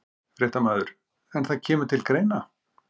Fréttamaður: En það kemur til greina?